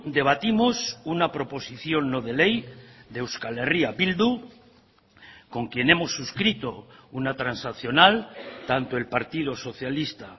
debatimos una proposición no de ley de euskal herria bildu con quien hemos suscrito una transaccional tanto el partido socialista